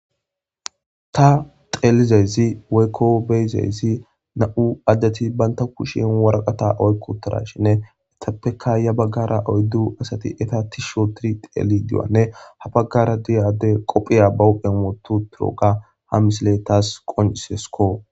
Ta xelayidayisi woyiko be, idayisi na,mu adeti banta na,mu kushen woraqata oyiqiwutirashinne etappeka yabagara oyidu asati eta tishi otidi xelishe habagara diya ade qophiya ba huphen wotiwotidaga ha misile tasi qonc, isesko